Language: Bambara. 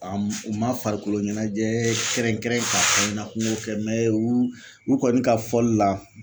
u man farikolo ɲɛnajɛ kɛrɛnkɛrɛn ka fɔ n ɲɛna ko n k'o kɛ u u kɔni ka fɔli la